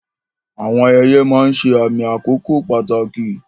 Àwọn ayẹyẹ máa ń ṣe àmì àkókò pàtàkì.